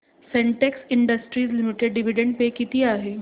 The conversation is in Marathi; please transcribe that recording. Sintex industries limited dividend pay किती आहे